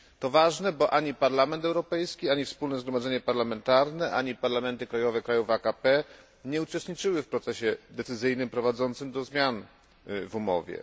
To ważne, bo ani Parlament Europejski, ani Wspólne Zgromadzenie Parlamentarne, ani parlamenty krajowe krajów AKP nie uczestniczyły w procesie decyzyjnym prowadzącym do zmian w umowie.